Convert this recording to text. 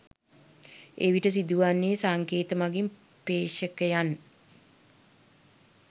එවිට සිදුවන්නේ සංකේත මගින් ප්‍රෙක්ෂකයන්